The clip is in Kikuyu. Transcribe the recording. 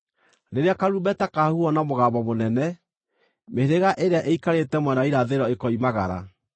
Rĩrĩa karumbeta kahuhwo na mũgambo mũnene, mĩhĩrĩga ĩrĩa ĩikarĩte mwena wa irathĩro ĩkoimagara.